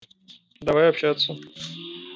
давай общаться